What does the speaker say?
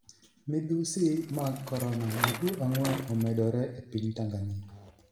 midhusi mag korona: jotuo ang'wen omedore e piny Tanganyika